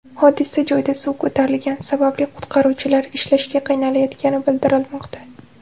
Hodisa joyida suv ko‘tarilgani sababli qutqaruvchilar ishlashga qiynalayotgani bildirilmoqda.